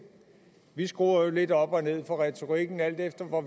vi skruer jo lidt op og ned for retorikken alt efter hvor